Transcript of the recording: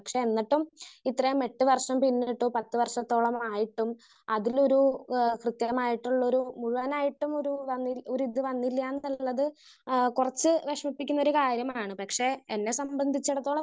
Speaker 1 പക്ഷെ എന്നിട്ടും ഇത്രേ എട്ട് വർഷം പിന്നിട്ടു പത്ത് വർഷത്തോളമായിട്ടും അതിലൊരു ആഹ് പ്രതേകമായിട്ടുള്ളൊരു മിഴുവനായിട്ടുമൊരു വന്നി ഒരു ഇത് വന്നില്ലാന്നുള്ളത് ആഹ് കുറച്ച് വിഷമിപ്പിക്കുന്നൊരു കാര്യമാണ്. പക്ഷെ എന്നെ സംബന്ധിച്ചിടത്തോളം